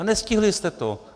A nestihli jste to!